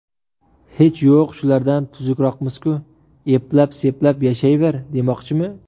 Hech yo‘q shulardan tuzukroqmiz-ku, eplab-seplab yashayver, demoqchimi?